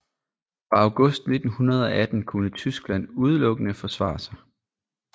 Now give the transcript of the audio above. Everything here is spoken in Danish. Fra august 1918 kunne Tyskland udelukkende forsvare sig